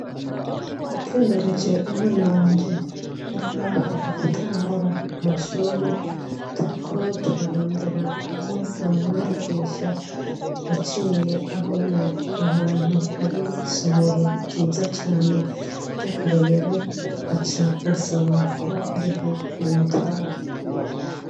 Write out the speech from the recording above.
Natembereje umwana wanje ari hafi gutangura amashure turi ko turarondera aho ni umwandikisha yaciye abona ahantu hari isomero ryiza cane ry'akarorero aca ansaba ko ariho no mutwa wara.